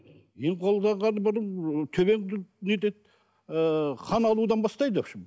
ем қолданғанда бір ы төбеңді нетеді ыыы қан алудан бастайды в общем